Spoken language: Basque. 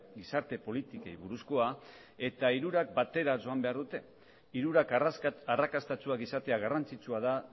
gizarte politikei buruzkoa eta hirurak batera joan behar dute hirurak arrakastatsuak izatea garrantzitsua da